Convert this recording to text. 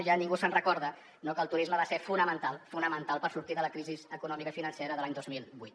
ja ningú es recorda que el turisme va ser fonamental fonamental per sortir de la crisi econòmica i financera de l’any dos mil vuit